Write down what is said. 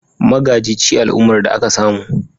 Magaji ci al'ummar da aka samu